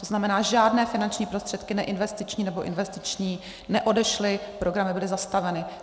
To znamená, žádné finanční prostředky neinvestiční nebo investiční neodešly, programy byly zastaveny.